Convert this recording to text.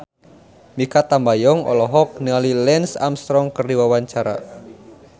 Mikha Tambayong olohok ningali Lance Armstrong keur diwawancara